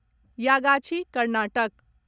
Yagachi Karnataka